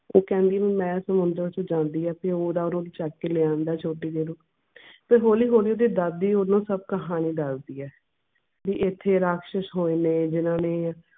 ਉਹ ਕਹਿੰਦੀ ਐ ਮੈਂ ਸਮੁੰਦਰ ਚ ਜਾਂਦੀ ਆਂ ਤੇ ਓਹਦਾ ਰੂਪ ਚੱਕ ਕੇ ਲੈ ਆਂਦਾ ਐ ਛੋਟੀ ਜਿਹੀ ਨੂੰ ਤੇ ਹੌਲੀ ਹੌਲੀ ਓਹਦੀ ਦਾਦੀ ਓਹਨੂੰ ਸਬ ਕਹਾਣੀ ਦਸਦੀ ਐ ਵੀ ਐਥੇ ਰਾਕਸ਼ਸ ਹੋਏ ਨੇ ਜਿਹਨਾਂ ਨੇ